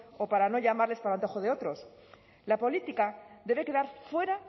o para no llamarles para el antojo de otros la política debe quedar fuera